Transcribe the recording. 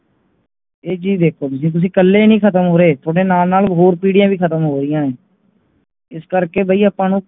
ਇਹ ਚੀਜ ਦੇਖੋ ਜੇ ਤੁੱਸੀ ਕਲੇ ਹੀ ਖਤਮ ਹੋ ਰਹੇ ਤੁਹਾਡੇ ਨਾਲ ਨਾਲ ਹੋਰ ਪੀਹੜੀਆਂ ਵੀ ਖ਼ਤਮ ਹੋ ਰਿਆਂ ਹੈ ਇੱਸ ਕਰਕੇ ਭਾਈ ਆਪਾ ਨੂੰ